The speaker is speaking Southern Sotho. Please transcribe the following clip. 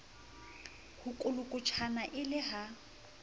ho kolokotjhana e le ha